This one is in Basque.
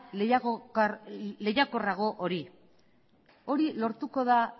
lehiakorrago hori hori lortuko da